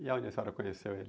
E aonde a senhora conheceu ele?